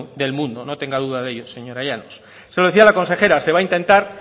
del mundo no tenga duda de ello señora llanos se lo decía a la consejera se va a intentar